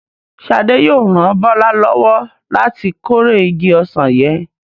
Ṣé Adé yóò ran Bọ́lá lọ́wọ́ láti kórè igi ọsàn yẹn?